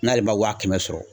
N'ale ma waa kɛmɛ sɔrɔ